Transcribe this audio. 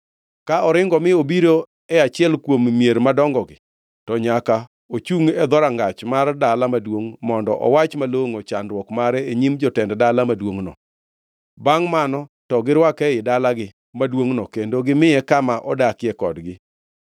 “Ka oringo mi obiro e achiel kuom mier madongogi, to nyaka ochungʼ e dhorangach mar dala maduongʼ mondo owach malongʼo chandruok mare e nyim jotend dala maduongʼno. Bangʼ mano to girwake ei dalagi maduongʼno kendo gimiye kama odakie kodgi.